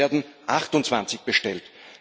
Es werden 28 bestellt.